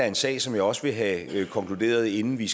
en sag som jeg også vil have konkluderet inden vi